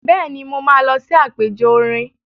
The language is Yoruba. Bẹ́ẹ̀ni, mo máa lọ sí àpẹjọ orin.